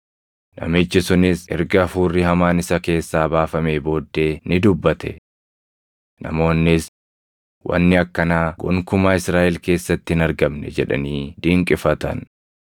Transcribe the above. Namichi sunis erga hafuurri hamaan isa keessaa baafamee booddee ni dubbate. Namoonnis, “Wanni akkanaa gonkumaa Israaʼel keessatti hin argamne” jedhanii dinqifatan.